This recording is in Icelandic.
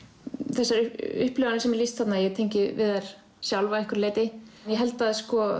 þessar upplifanir sem lýst er þarna ég tengi við þær sjálf að einhverju leyti en ég held að